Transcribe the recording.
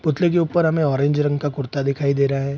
पुतले के ऊपर हमे ऑरेंज रंग का कुर्ता दिखाई दे रहा है।